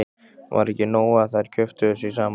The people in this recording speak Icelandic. Var ekki nóg að þær kjöftuðu sig saman?